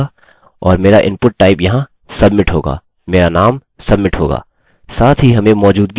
और मेरा input type यहाँ submit होगा; मेरा नाम submit होगा